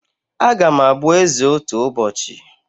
Agam abụ eze otu ụbọchị